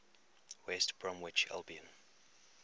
west bromwich albion